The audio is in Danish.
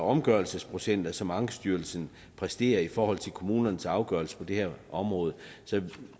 omgørelsesprocenter som ankestyrelsen præsterer i forhold til kommunernes afgørelser på det her område så